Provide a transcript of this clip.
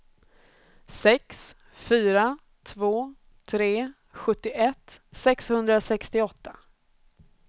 sex fyra två tre sjuttioett sexhundrasextioåtta